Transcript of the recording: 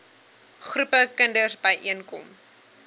groepe kinders byeenkom